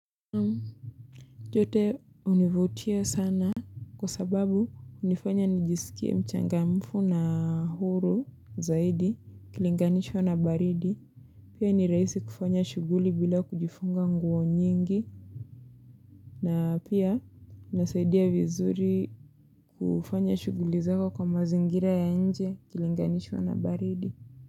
Yote univutia sana. Kwa sababu, unifanya nijisikie mchangamfu na huru zaidi kilinganishwa na baridi. Pia ni raisi kufanya shuguli bila kujifunga nguo nyingi. Na pia, unasaidia vizuri kufanya shuguli zako kwa mazingira ya nje kilinganishwa na baridi.